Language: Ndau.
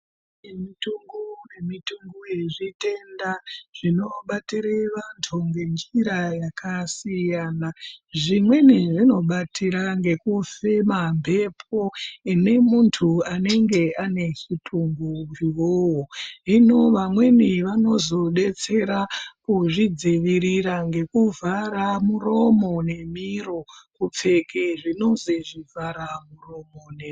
Mitombo yezvitenda zvinobatire vantu ngenjira dzakasiyana siyana. Zvimweni zvinobatira ngekufema mhepo ineemuntu anenge ane utungu .Zvino amweni vanozodetsera kuzvi dzivirira ngekuvhara muromo nemiro kupfeke zvinozi zvivhara muromo.